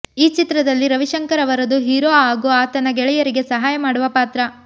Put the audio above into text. ಈ ಚಿತ್ರದಲ್ಲಿ ರವಿಶಂಕರ್ ಅವರದು ಹೀರೋ ಹಾಗು ಆತನ ಗೆಳೆಯರಿಗೆ ಸಹಾಯ ಮಾಡುವ ಪಾತ್ರ